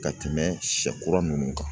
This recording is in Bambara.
Ka tɛmɛ sɛ kura ninnu kan